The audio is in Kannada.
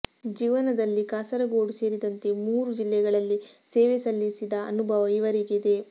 ಜೀವನದಲ್ಲಿ ಕಾಸರಗೋಡು ಸೇರಿದಂತೆ ಮೂರು ಜಿಲ್ಲೆಗಳಲ್ಲಿ ಸೇವೆ ಸಲ್ಲಿಸಿದ ಅನುಭವ ಇವರಿಗಿದೆ